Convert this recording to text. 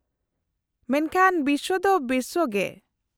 -ᱢᱮᱱᱠᱷᱟᱱ ᱵᱤᱥᱥᱚ ᱫᱚ ᱵᱤᱥᱥᱚ ᱜᱮ ᱾